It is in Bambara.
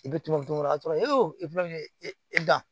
I bɛ tomunkuru dɔrɔn de la dɔrɔn e fɛnɛ e dan